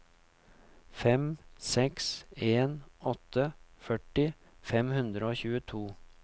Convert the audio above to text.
fem seks en åtte førti fem hundre og tjueto